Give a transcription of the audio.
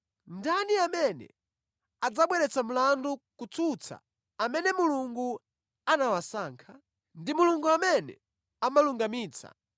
Ndani amene adzabweretsa mlandu kutsutsa amene Mulungu anawasankha? Ndi Mulungu amene amalungamitsa.